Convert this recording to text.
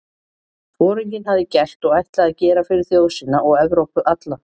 Foringinn hafði gert og ætlaði að gera fyrir þjóð sína og Evrópu alla?